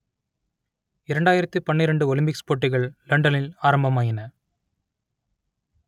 இரண்டாயிரத்து பன்னிரண்டு ஒலிம்பிக்ஸ் போட்டிகள் லண்டனில் ஆரம்பமாயின